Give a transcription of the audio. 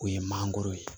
O ye mangoro ye